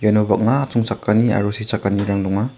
iano bang·a atchongchakani aro sechakanirang donga.